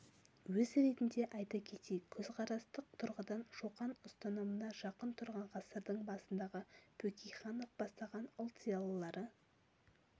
өз ретінде айта кетейік көзқарастық тұрғыдан шоқан ұстанымына жақын тұрған ғасырдың басындағы бөкейханов бастаған ұлт зиялылары